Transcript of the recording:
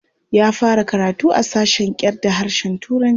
Ya fara karatu a sashen kyarda harshen Turanci.